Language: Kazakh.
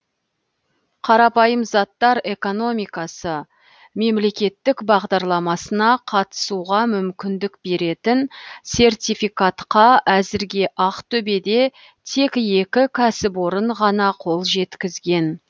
қарапайым заттар экономикасы мемлекеттік бағдарламасына қатысуға мүмкіндік беретін сертификатқа әзірге ақтөбеде тек екі кәсіпорын ғана қол жеткізген